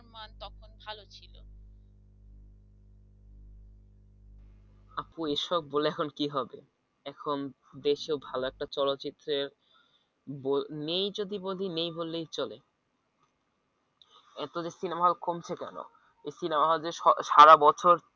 আপু এসব বলে এখন কি হবে এখন দেশে ভালো একটা চলচ্চিত্রের ব নেই যদি বলি নেই বললেই চলে এত যে সিনেমা হল কমছে কেন এই সিনেমা যে হল স~সারা বছর